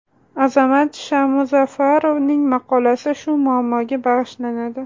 Azamat Shamuzafarovning maqolasi shu muammoga bag‘ishlanadi.